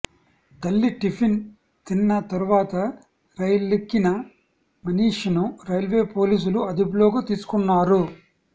తల్లి టిఫిన్ తిన్న తర్వాత రైలెక్కిన మనీష్ ను రైల్వే పోలీసులు అదుపులోకి తీసుకున్నారు